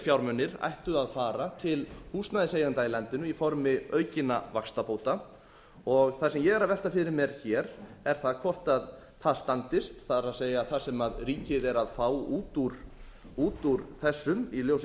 fjármunir ættu að fara til húsnæðiseigenda í landinu í formi aukinna vaxtabóta og það sem ég er að velta fyrir mér er hvort það standist það er það sem ríkið er að fá út úr þessum í ljósi þess